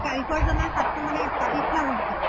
কাৰিকৰ জনৰ হাতটো মানে কাটি থোৱা হৈছিলে